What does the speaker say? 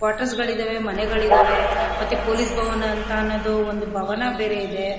Quarters ಗಳಿದ್ದಾವೆ ಮನೆಗಳಿದ್ದವೇ ಮತ್ತೆ ಪೊಲೀಸ್ ಭವನ ಅಂತ ಅನ್ನೋದು ಒಂದು ಭವನ ಬೇರೆ ಇದೆ.